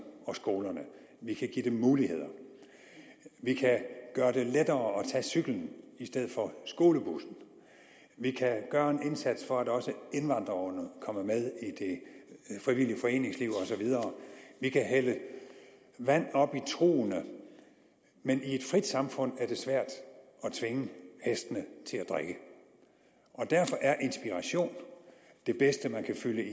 og skolerne vi kan give dem muligheder vi kan gøre det lettere at tage cyklen i stedet for skolebussen vi kan gøre en indsats for at også indvandrerungerne kommer med i det frivillige foreningsliv og så videre vi kan hælde vand op i trugene men i et frit samfund er det svært at tvinge hestene til at drikke og derfor er inspiration det bedste man kan fylde i